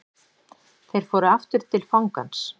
Þeir fóru aftur til fangans.